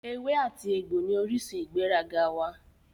Ewé àti egbò ní orísun ìgbéraga wá